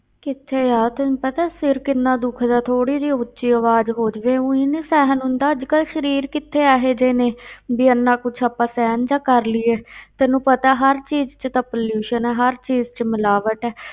ਕਿੱਥੇ ਯਾਰ, ਤੈਨੂੰ ਪਤਾ ਸਿਰ ਕਿੰਨਾ ਦੁਖਦਾ ਥੋੜ੍ਹੀ ਜਿਹੀ ਉੱਚੀ ਆਵਾਜ਼ ਹੋ ਜਾਵੇ ਊਈਂ ਨੀ ਸਹਿਨ ਹੁੰਦਾ, ਅੱਜ ਕੱਲ੍ਹ ਸਰੀਰ ਕਿੱਥੇ ਇਹ ਜਿਹੇ ਨੇ ਵੀ ਇੰਨਾ ਕੁਛ ਆਪਾਂ ਸਹਿਨ ਜਿਹਾ ਕਰ ਲਈਏ ਤੈਨੂੰ ਪਤਾ ਹਰ ਚੀਜ਼ ਵਿੱਚ ਤਾਂ pollution ਹੈ, ਹਰ ਚੀਜ਼ ਵਿੱਚ ਮਿਲਾਵਟ ਹੈ